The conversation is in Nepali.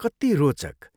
कति रोचक!